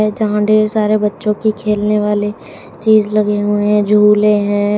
जहां ढ़ेर सारे बच्चों की खेलने वाले चीज लगे हुए हैं झूले हैं।